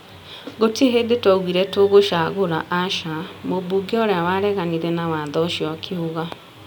Gũtirĩ hingo twaugire tũgucagũra aca. Mũmbuge ũria wareganire na watho ũcio akiuga.